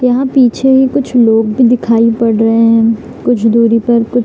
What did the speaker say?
यहाँ पीछे कुछ लोग भी दिखाई पड़ रहे है कुछ दूरी पर कु --